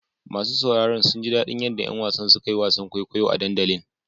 Masu sauraro sun ji daɗin yadda ƴan wasan suka yi wasan kwaikwayo a dandalin.